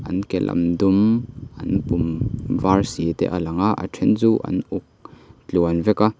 an ke lam dum an pum var si te a lang a a then chu an uk tluan vek a.